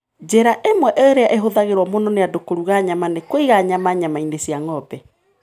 Njĩra ĩmwe ĩrĩa ĩhũthagĩrũo mũno nĩ andũ kũruga nyama nĩ kũiga nyama nyama-inĩ cia ng'ombe.